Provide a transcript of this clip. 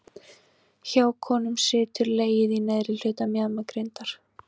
Hjá konum situr legið í neðri hluta mjaðmagrindar.